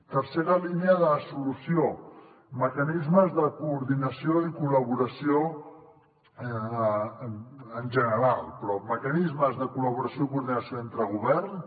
tercera línia de solució mecanismes de coordinació i col·laboració en general però mecanismes de col·laboració i coordinació entre governs